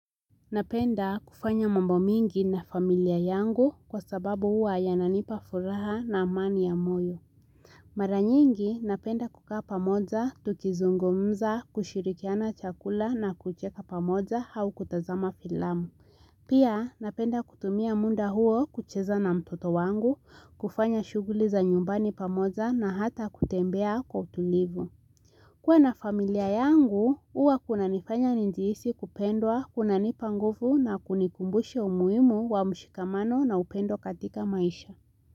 Napenda kufanya mambo mingi na familia yangu kwa sababu huwa yananipa furaha na amani ya moyo. Mara nyingi napenda kukaa pamoja, tukizungumza, kushirikiana chakula na kucheka pamoja au kutazama filamu. Pia napenda kutumia muda huo kucheza na mtoto wangu, kufanya shughuli za nyumbani pamoja na hata kutembea kwa utulivu. Kuwa na familia yangu, huwa kunanifanya nijihisi kupendwa, kunanipa nguvu na kunikumbusha umuhimu wa mshikamano na upendo katika maisha.